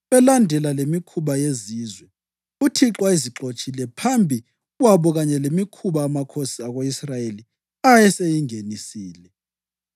belandela lemikhuba yezizwe uThixo ayezixotshile phambi kwabo kanye lemikhuba amakhosi ako-Israyeli ayeseyingenisile.